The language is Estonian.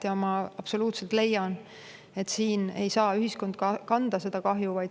Ja ma absoluutse leian, et ühiskond ei saa seda kahju kanda.